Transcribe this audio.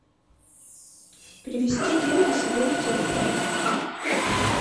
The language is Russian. перевести деньги себе на телефон